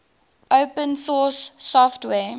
open source software